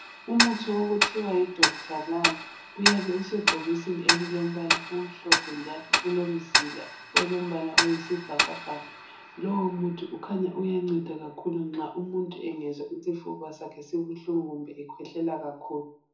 Umuthi okuthiwa yiDokutha Lal uyabe usebhokisini elilombala omhlophe njalo ulomzila olombala oyisibhakabhaka. Lowo muthi ukhanya uyanceda kakhulu nxa umuntu engezwa isifuba sakhe sibuhlungu kumbe ekhwehlela kakhulu.